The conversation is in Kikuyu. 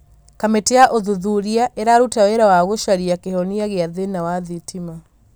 kamĩtĩ ya ũthuthuria ĩraruta wĩra wa gũcaria kĩhonia gĩa thĩna wa thitima